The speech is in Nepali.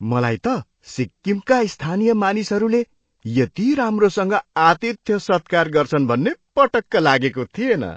मलाई त सिक्किमका स्थानीय मानिसहरूले यति राम्रोसँग आतिथ्य सत्कार गर्छन् भन्ने पटक्क लागेको थिएन।